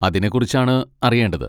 അതിനെകുറിച്ചാണ് അറിയേണ്ടത്.